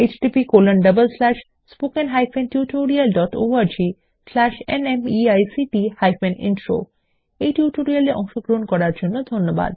httpspoken tutorialorgNMEICT Intro এই tutorial এ অংশগ্রহন করার জন্য ধন্যবাদ